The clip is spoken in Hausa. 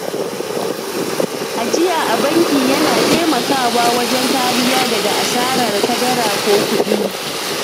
Ajiya a banki yana taimaka wa wajen kariya daga asarar kadara ko kuɗi.